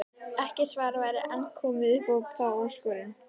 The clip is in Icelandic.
Ekkert svar væri enn komið upp á þá áskorun.